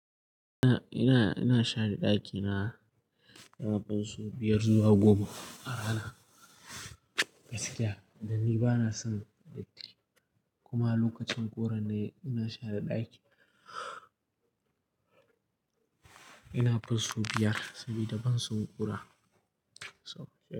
Ina, ina, ina share ɗakina, ina karɓan su biyar zuwa goma a rana. Gaskiya dan ni bana son datti kuma lokacin ƙura ne ina share ɗaki. Ina fusau biyar saboda ban so ƙura.